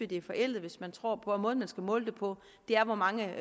det er forældet hvis man tror på at måden man skal måle det på er hvor mange